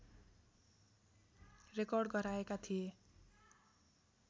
Record गराएका थिए।